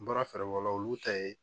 N bɔra fɛrɛ bɔ olu ta ye